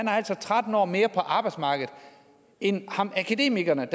har altså tretten år mere på arbejdsmarkedet end akademikeren